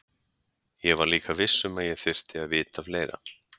Ég var líka viss um að ég þyrfti að vita fleira.